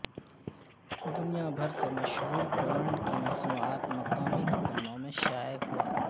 دنیا بھر سے مشہور برانڈ کی مصنوعات مقامی دکانوں میں شائع ہوا